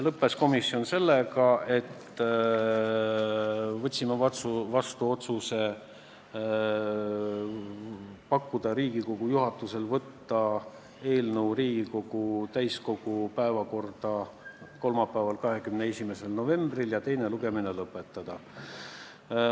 Komisjoni istung lõppes sellega, et me võtsime vastu otsuse pakkuda Riigikogu juhatusele võtta eelnõu Riigikogu täiskogu päevakorda kolmapäeval, 21. novembril ja teine lugemine lõpetada.